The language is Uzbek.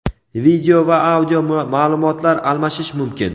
video va audio ma’lumotlar almashish mumkin.